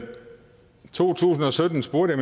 to tusind og sytten spurgte